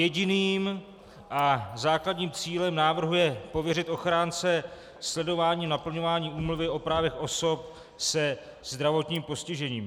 Jediným a základním cílem návrhu je pověřit ochránce sledováním naplňování Úmluvy o právech osob se zdravotním postižením.